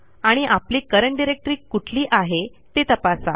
आणि आपली current directory कुठली आहे ते तपासा